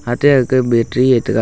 ate agka battery ye tega.